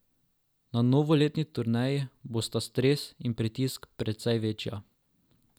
Na novoletni turneji bosta stres in pritisk precej večja.